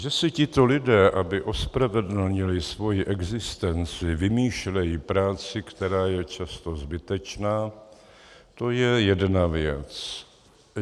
Že si tito lidé, aby ospravedlnili svoji existenci, vymýšlejí práci, která je často zbytečná, to je jedna věc.